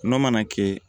Nɔnɔ mana kɛ